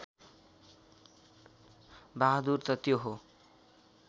बहादुर त त्यो हो